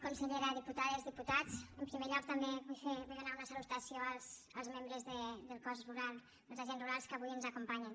consellera diputades diputats en primer lloc també vull donar una salutació als membres del cos dels agents rurals que avui ens acompanyen